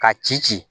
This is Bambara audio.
Ka ci ci